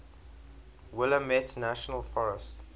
willamette national forest